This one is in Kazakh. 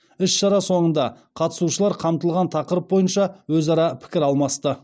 іс шара соңында қатысушылар қамтылған тақырып бойынша өзара пікір алмасты